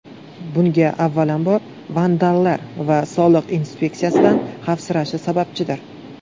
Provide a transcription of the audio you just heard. Bunga avvalambor, vandallar va soliq inspeksiyasidan xavfsirashi sababchidir.